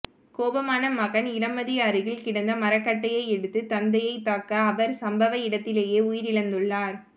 கோபமான மகன் இளமதி அருகில் கிடந்த மரக்கட்டையை எடுத்து தந்தையைத் தாக்க அவர் சம்பவ இடத்திலேயே உயிரிழந்துள்ளார்